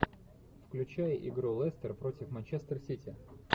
включай игру лестер против манчестер сити